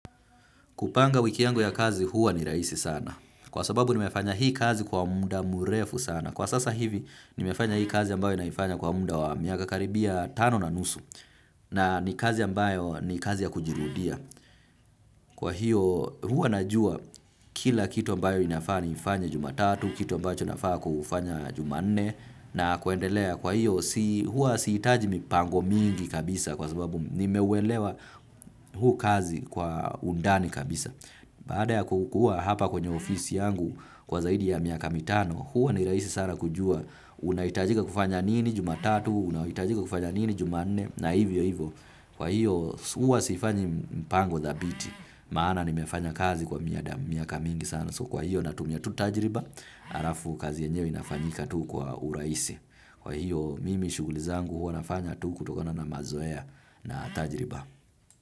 Kupanga wiki yangu ya kazi huwa ni rahisi sana. Kwa sababu nimefanya hii kazi kwa muda murefu sana. Kwa sasa hivi nimefanya hii kazi ambayo naifanya kwa muda wa miaka karibia tano na nusu. Na ni kazi ambayo ni kazi ya kujirudia. Kwa hiyo huwa najua kila kitu ambayo inafaa niifanye jumatatu, kitu ambacho nafaa kufanya jumane na kuendelea. Kwa hiyo huwa si hitaji mipango mingi kabisa kwa sababu nimeuwelewa huu kazi kwa undani kabisa. Baada ya kukua hapa kwenye ofisi yangu kwa zaidi ya miaka mitano. Huwa ni rahisi sana kujua unahitajika kufanya nini jumatatu. Unahitajika kufanya nini jumanne na hivyo hivyo. Kwa hiyo huwa sifanyi mipango dhabiti. Maana nimefanya kazi kwa miaka mingi sana So kwa hiyo na tumia tu tajiriba. Halafu kazi yenyewe inafanyika tu kwa urahisi. Kwa hiyo mimi shughuli zangu huwa nafanya tu kutokona na mazoea na tajriba.